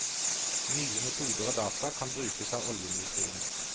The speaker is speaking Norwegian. Nye metoder og data kan brukes av oljeindustrien.